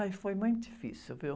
Ai, foi muito difícil, viu?